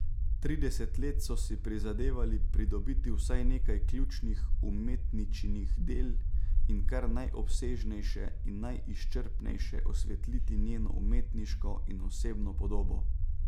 Trideset let so si prizadevali pridobiti vsaj nekaj ključnih umetničinih del in kar najobsežnejše in najizčrpnejše osvetliti njeno umetniško in osebno podobo.